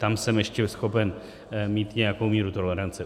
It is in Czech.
Tam jsem ještě schopen mít nějakou míru tolerance.